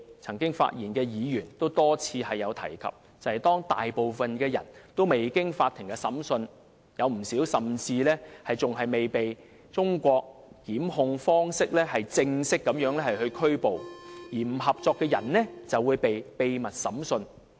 曾經發言的議員也多次提及，當中大部分人未經法庭審判，有不少甚至尚未按照中國的檢控方式正式扣捕，而不合作的人就會被秘密審訊。